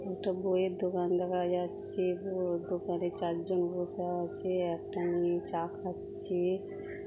একটা বইয়ের দোকান দেখা যাচ্ছে। বইয়ের দোকানে চারজন বসে আছে একটা মেয়ে চা খাচ্ছে।